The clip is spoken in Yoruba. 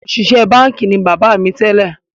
Òṣìṣẹ́ báńkì ni bàbá mi tẹ́lẹ̀